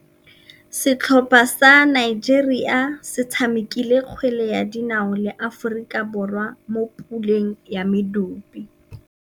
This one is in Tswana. Setlhopha sa Nigeria se tshamekile kgwele ya dinaô le Aforika Borwa mo puleng ya medupe.